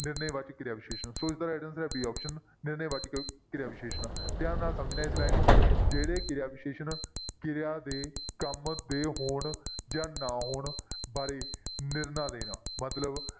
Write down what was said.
ਨਿਰਣੈ ਵਾਚਕ ਕਿਰਿਆ ਵਿਸ਼ੇਸ਼ਣ ਸੋ ਇਸਦਾ right answer ਹੈ b option ਨਿਰਣੈ ਵਾਚਕ ਕਿਰਿਆ ਵਿਸ਼ੇਸ਼ਣ ਧਿਆਨ ਨਾਲ ਸਮਝਣਾ ਹੈ ਇਸ line ਨੂੰ, ਜਿਹੜੇ ਕਿਰਿਆ ਵਿਸ਼ੇਸ਼ਣ ਕਿਰਿਆ ਦੇ ਕੰਮ ਦੇ ਹੋਣ ਜਾਂ ਨਾ ਹੋਣ ਬਾਰੇ ਨਿਰਣਾ ਦੇਣ ਮਤਲਬ